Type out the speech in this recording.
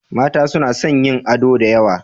Mata suna son yin ado da yawa.